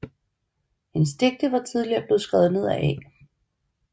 Hendes digte var tidligere blevet skrevet ned af A